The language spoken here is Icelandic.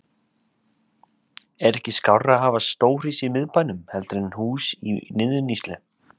Er ekki skárra að hafa stórhýsi í miðbænum heldur en hús í niðurníðslu?